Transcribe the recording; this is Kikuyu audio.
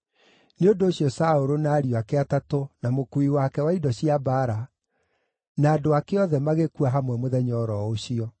Nĩ ũndũ ũcio Saũlũ, na ariũ ake atatũ, na mukuui wake wa indo cia mbaara, na andũ ake othe magĩkua hamwe mũthenya o ro ũcio.